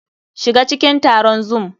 SHiga cikin taron Zoom!